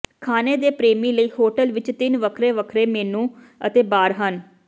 ਖਾਣੇ ਦੇ ਪ੍ਰੇਮੀ ਲਈ ਹੋਟਲ ਵਿਚ ਤਿੰਨ ਵੱਖਰੇ ਵੱਖਰੇ ਮੇਨੂ ਅਤੇ ਬਾਰ ਹਨ